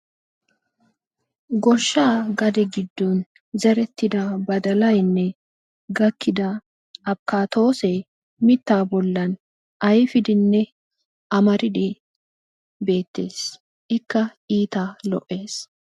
Goshshaa gadee giddon badalayinne abbokkattoy ayfiddinne amariddi beetes.